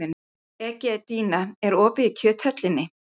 Egedía, er opið í Kjöthöllinni?